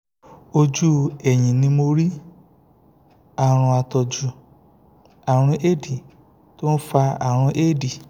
ojú ẹ̀yìn ni mo rí àrùn àtọ́jú àrùn éèdì tó ń fa àrùn éèdì